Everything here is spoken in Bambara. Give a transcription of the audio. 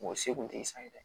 Mɔgɔ se kun te san dɛ